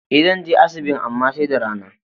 E, zan je asibin amma sai da rana.